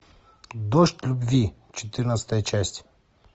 дождь любви четырнадцатая часть